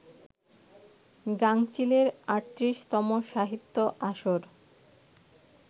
গাঙচিলের ৩৮তম সাহিত্য আসর